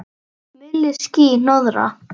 Milli ský- hnoðra.